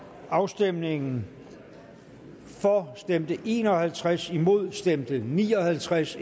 afstemningen for stemte en og halvtreds imod stemte ni og halvtreds